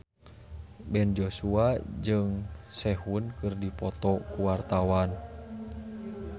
Ben Joshua jeung Sehun keur dipoto ku wartawan